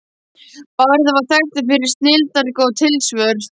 Bárður var þekktur fyrir snilldargóð tilsvör.